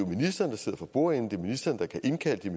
ministeren der sidder for bordenden og kan indkalde